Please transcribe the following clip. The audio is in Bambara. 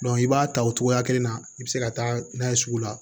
i b'a ta o cogoya kelen na i bɛ se ka taa n'a ye sugu la